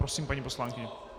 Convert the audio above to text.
Prosím, paní poslankyně.